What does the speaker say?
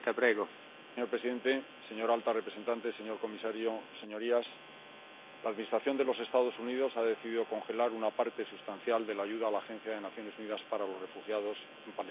Señor presidente, señora alta representante, señor comisario, señorías, la Administración de los Estados Unidos ha decidido congelar una parte sustancial de la ayuda a la agencia de las Naciones Unidas para los refugiados de Palestina.